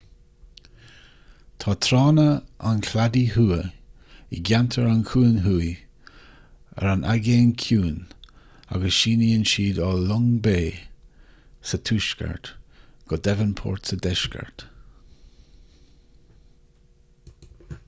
tá tránna an chladaigh thuaidh i gceantar an chuain thuaidh ar an aigéan ciúin agus síneann siad ó long bay sa tuaisceart go devonport sa deisceart